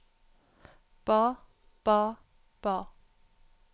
ba ba ba